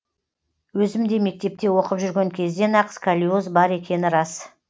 өзімде мектепте оқып жүрген кезден ақ сколиоз бар екені рас